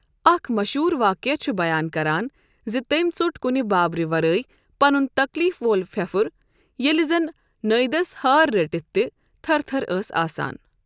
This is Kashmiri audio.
اکھ مشہوٗر واقعہٕ چھُ بیان کران زِ تٔمۍ ژوٚٹ کُنہِ بٲبرِ ورٲے پنُن تکلیٖف وول پھٮ۪پُھر، ییلہٕ زن نٲوِدس ہارٕ رٔٹتھ تہِ تھرتھر ٲس آسان۔